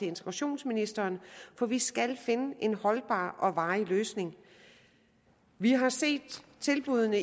integrationsministeren for vi skal finde en holdbar og varig løsning vi har set tilbuddene